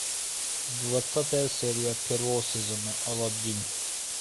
двадцатая серия первого сезона алладин